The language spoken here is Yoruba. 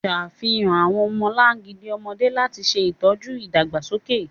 Ṣafihan awọn ọmọlangidi ọmọde lati ṣe itọju idagbasoke.